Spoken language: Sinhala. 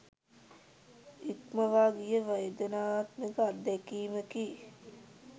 ඉක්මවා ගිය වේදනාත්මක අත්දැකීමකි.